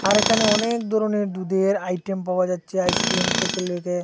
এখানে অনেক ধরনের দুধের আইটেম পাওয়া যাচ্ছে আইসক্রিম থেকে লইগে।